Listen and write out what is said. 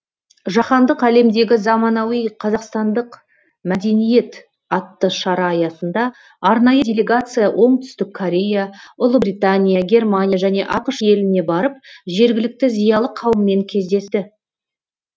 жаһандық әлемдегі заманауи қазақстандық мәдениет атты шара аясында арнайы делегация оңтүстік корея ұлыбритания германия және ақш еліне барып жергілікті зиялы қауыммен кездесті